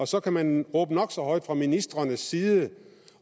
så kan man råbe nok så højt fra ministrenes side